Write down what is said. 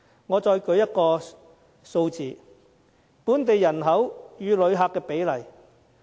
我再舉另一個數字：本地人口與旅客的比例。